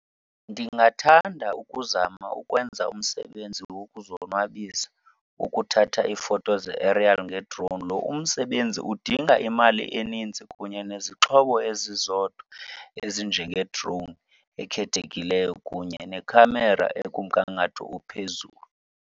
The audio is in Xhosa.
Ndingathanda ukuzama ukwenza umsebenzi wokuzonwabisa ukuthatha iifoto ze-aerial ngedrowuni. Lo umsebenzi udinga imali enintsi kunye nezixhobo ezizodwa ezinjengedrowuni ekhethekileyo kunye nekhamera ekumngangatho ophezulu.